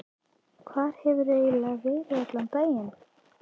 Hvar hefurðu eiginlega verið í allan dag?